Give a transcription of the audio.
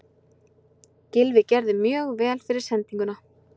Gylfi gerði mjög vel fyrir sendinguna.